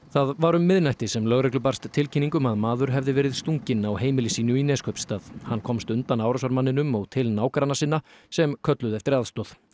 það var um miðnætti sem lögreglu barst tilkynning um að maður hefði verið stunginn á heimili sínu í Neskaupstað hann komst undan árásarmanninum og til nágranna sinna sem kölluðu eftir aðstoð